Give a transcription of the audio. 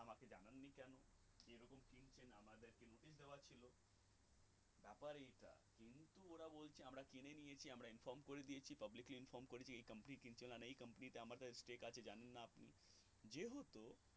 আর এই যে public এ inform করিনি এই কারণে যে company টা আমাদের কি কাজের জানেন না আপনি যেহেতু